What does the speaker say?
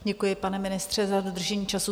Děkuji, pane ministře, za dodržení času.